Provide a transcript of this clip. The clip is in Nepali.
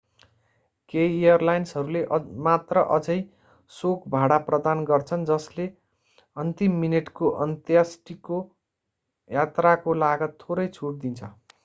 केही एयरलाइन्सहरूले मात्र अझै शोक भाडा प्रदान गर्छन् जसले अन्तिम मिनेटको अन्त्येष्टि यात्राको लागत थोरै छुट दिन्छ